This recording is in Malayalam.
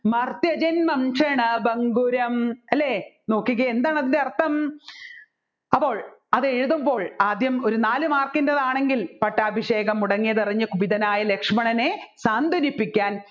മർത്യജൻ വംശനാ ഭംഗുരം അല്ലെ നോക്കിക്കേ എന്താണ് അതിൻ്റെ അർത്ഥം അപ്പോൾ അതെഴുതുമ്പോൾ ആദ്യം ഒരു നാല് mark ൻറെ ആണെങ്കിൽ പട്ടാഭിഷേകം മുടങ്ങിയതറിഞ്ഞ് കുപിതനായ ലക്ഷ്മണനെ സ്വാന്തനിപ്പിക്കാൻ